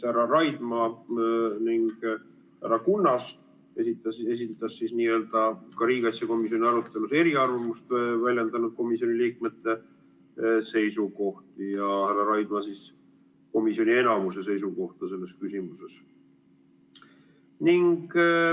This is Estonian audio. Härra Kunnas esitas riigikaitsekomisjonis eriarvamust väljendanud komisjoni liikmete seisukohti ja härra Raidma komisjoni enamuse seisukohti selles küsimuses.